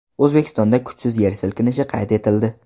O‘zbekistonda kuchsiz yer silkinishi qayd etildi .